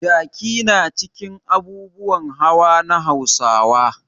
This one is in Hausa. Jaki na cikin abubuwan hawa na Hausawa.